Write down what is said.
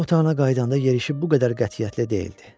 Qonaq otağına qayıdanda yerişib bu qədər qətiyyətli deyildi.